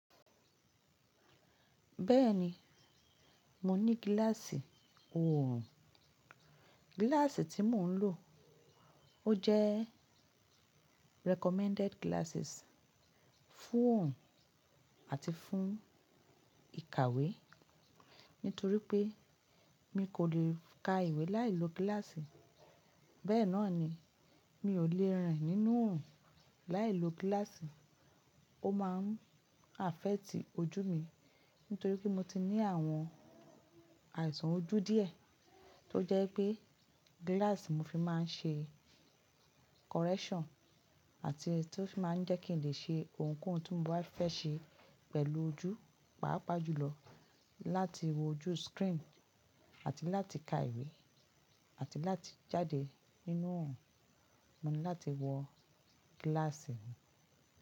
Bẹ́ẹ̀ni, mo ní gíláàsì oorùn. Gíláàsì tí mo ń lò ó jẹ́ recommended glasses fún oorùn àti fún ìkàwé. Nítorí pé mi kò lè ka ìwé láìlo gíláàsì. Bẹ́ẹ̀ náà ni mi ò lè rìn nínú oorùn láìlo gíláàsì. Ó máa ń affect ojú mi nítorí pé mo ti ní àwọn àìsàn ojú díẹ̀ tó jẹ́ pé gíláàsì mo fi máa ń ṣe correction àti tí ó fi máa ń jẹ́ kí n lè ṣe ohunkóhun tí mo bá fẹ́ ṣe pẹ̀lú ojú, pàápàá jùlọ láti wo ojú screen àti láti ka ìwé àti láti jáde nínú ohùn, mo ní láti wọ gíláàsì mi.